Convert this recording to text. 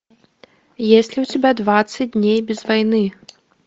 есть ли у тебя двадцать дней без войны